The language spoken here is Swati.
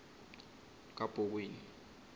kabhokweni